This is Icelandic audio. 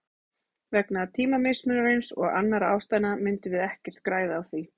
Vegna tímamismunarins og annarra ástæðna myndum við ekkert græða á því.